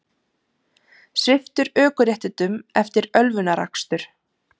Sviptur ökuréttindum eftir ölvunarakstur